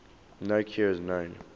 no cure is known